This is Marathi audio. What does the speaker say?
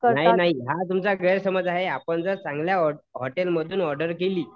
नाही नाही या तुमच्या गैरसमज आहे आपण जर चांगल्या हॉटेल मधून ऑर्डर केली